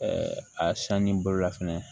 a sanni boloda fɛnɛ